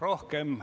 Rohkem ...